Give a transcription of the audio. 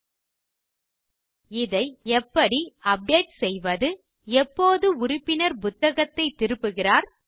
இந்த தகவலை எப்படி அப்டேட் செய்வது எப்போது உறுப்பினர் புத்தகத்தைத் திருப்புகிறார்